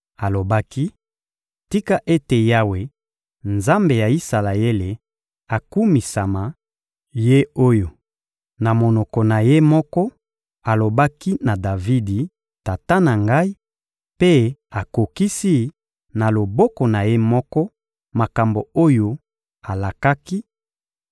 Alobaki: — Tika ete Yawe, Nzambe ya Isalaele, akumisama; Ye oyo, na monoko na Ye moko, alobaki na Davidi, tata na ngai, mpe akokisi, na loboko na Ye moko, makambo oyo alakaki: